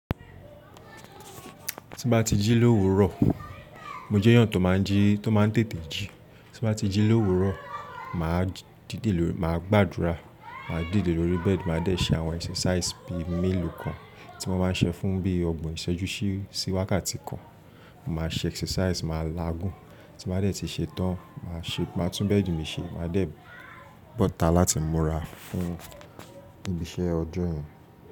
Tí n bá ti jí l’òwúrọ̀, mo jẹ́ èèyàn tó máa ń tètè jí. Tí n bá ti jí l'òwúrọ̀, mà á gbàdúrà, mà á dìde lórí bẹ́ẹ̀di, mà á dẹ ṣe àwọn exercise bí i mélòó kan tí mo máa ń ṣe fún bíi ọgbọ̀n ìṣẹ́jú síí wákàtí kan. Mo máa ṣe exercise, mà á làágùn. Tí n bá dẹ tíí ṣe tán, mà á tún bẹ́ẹ̀di mi ṣe, mà á dẹ bọ́ta láti múra fún ibi iṣẹ́ ọjọ́ yẹn.